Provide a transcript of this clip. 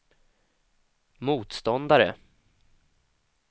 motståndare